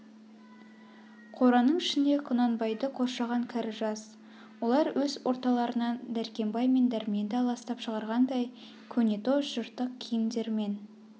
қораның ішінде құнанбайды қоршаған кәрі-жас олар өз орталарынан дәркембай мен дәрменді аластап шығарғандай көнетоз жыртық киімдермен